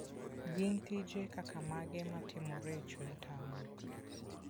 Gin tije kaka mage matimore e chuny taon?